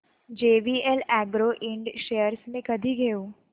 JVL agro ind shares मी कधी घेऊ